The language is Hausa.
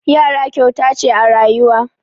Yara kyauta ce a rayuwa.